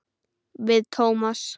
Við Tómas.